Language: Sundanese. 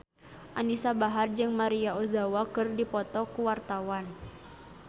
Anisa Bahar jeung Maria Ozawa keur dipoto ku wartawan